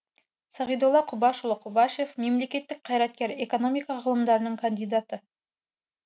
сағидолла құбашұлы құбашев мемлекеттік қайраткер экономика ғылымдарының кандидаты